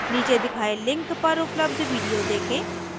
नीचे दिखाए link पर उपलब्ध video देखें